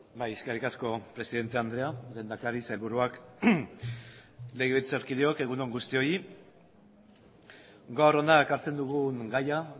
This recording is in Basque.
bai eskerrik asko presidente andrea lehendakari sailburuak legebiltzarkideok egun on guztioi gaur hona ekartzen dugun gaia